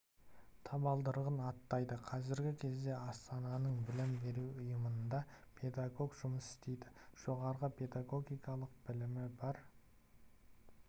табалдырығын аттайды қазіргі кезде астананың білім беру ұйымдарында педагог жұмыс істейді жоғары педагогикалық білімі бар